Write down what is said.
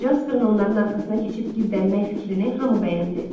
Jasperin onların arxasına keçib gizlənmək fikrinə hamı bəyəndi.